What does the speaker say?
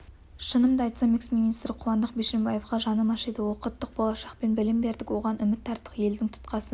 шынымды айтсам эксминистр қуандық бишімбаевқа жаным ашиды оқыттық болашақпен білім бердік оған үміт арттық елдің тұтқасын